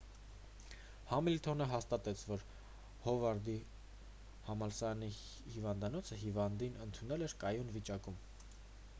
համիլթոնը հաստատեց որ հովարդի համալսարանի հիվանդանոցը հիվանդին ընդունել էր կայուն վիճակում